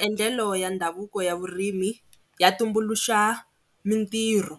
Maendlelo ya ndhavuko ya vurimi ya tumbuluxa mitirho,